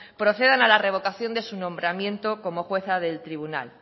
procedan a la revocación de su nombramiento como jueza del tribunal